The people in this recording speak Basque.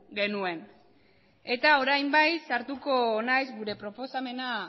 genuen eta orain bai sartuko naizela gure proposamena